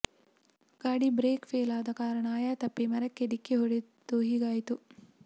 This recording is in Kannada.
ಗಾಡಿ ಬ್ರೇಕ್ ಫೇಲ್ ಆದ ಕಾರಣ ಆಯ ತಪ್ಪಿ ಮರಕ್ಕೆ ಡಿಕ್ಕಿ ಹೂಡೆದು ಹೀಗಾಯಿತು